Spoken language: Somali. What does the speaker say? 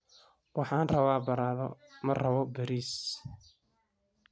Waxaan rabaa baradho, ma rabo bariis.